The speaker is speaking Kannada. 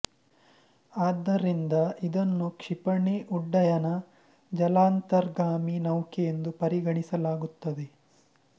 ಆದ್ದರಿಂದ ಇದನ್ನು ಕ್ಷಿಪಣಿ ಉಡ್ಡಯನ ಜಲಾಂತರ್ಗಾಮಿ ನೌಕೆ ಎಂದೂ ಪರಿಗಣಿಸಲಾಗುತ್ತದೆ